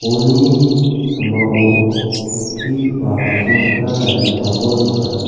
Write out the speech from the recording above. bolni sambao chokki ba asongchakna tarigipako nika.